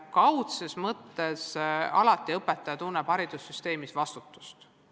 Kaudses mõttes tunneb õpetaja alati vastutust.